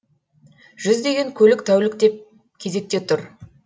жүздеген көлік тәуліктеп кезекте тұр